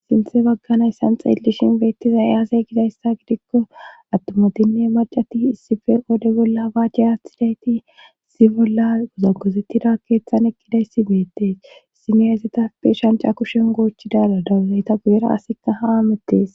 sinthe baggana yssan xeellishin beettiza eyaasay gidayssa gidikko attumatinne macati issife oode bolla habaajche athidayti si bolla gozagosetida keethan ekkidayssi beettees issimeyayzetappe shanca kushen goochidala dawuzayta guzera asika ha amettees